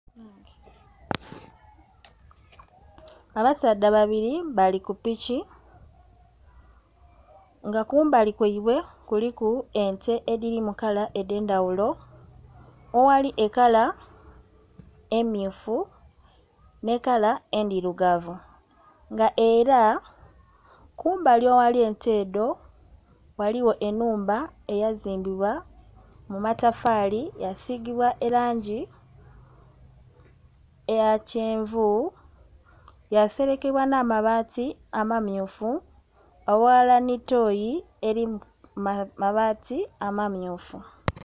Abasaadha babili bali ku piki, nga kumbali kwaibwe kuliku ente edhiri mu kala edh'endhaghulo awali ekala emmyufu nh'ekala endhirugavu. Nga era, kumbali aghali ente edho ghaligho ennhumba eyazimbibwa mu matafaali yaasigibwa elangi eya kyenvu, yaaselekebwa nh'amabaati amamyufu, aghalala nhi tooyi eli mu mabaati amamyufu.